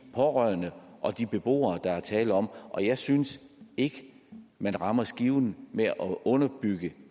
pårørende og de beboere der er tale om og jeg synes ikke man rammer skiven og underbygger